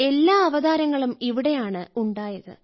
എല്ലാ അവതാരങ്ങളും ഇവിടെയാണ് ഉണ്ടായത്